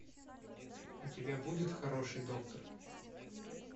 у тебя будет хороший доктор